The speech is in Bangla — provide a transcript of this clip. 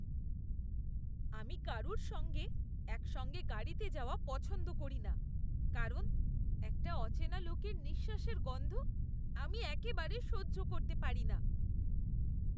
আমি কারুর সঙ্গে একসঙ্গে গাড়িতে যাওয়া পছন্দ করিনা কারণ একটা অচেনা লোকের নিঃশ্বাসের গন্ধ আমি একেবারে সহ্য করতে পারিনা।